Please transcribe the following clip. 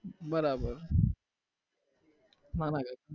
બરાબર